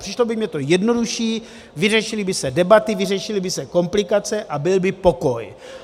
Přišlo by mi to jednodušší, vyřešily by se debaty, vyřešily by se komplikace a byl by pokoj.